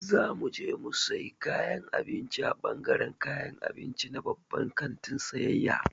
Za mu je mu sayi kayan abinci a ɓangaran kayan abinci na babban kantin sayayya.